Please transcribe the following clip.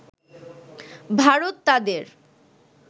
ভারত তাদের